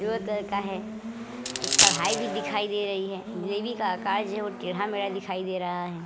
पीले कलर का है। एक कढ़ाई भी दिखाई दे रही है। जलेबी का आकार जो है वो टेढ़ा-मेढ़ा दिखाई दे रहा है।